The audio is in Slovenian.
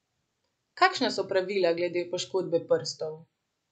Kakšna so pravila glede poškodbe prstov?